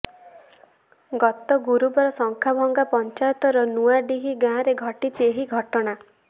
ଗତ ଗୁରୁବାର ଶଙ୍ଖାଭଂଗା ପଂଚାୟତର ନୂଆଡିହି ଗାଁରେ ଘଟିଛି ଏହି ଘଟଣା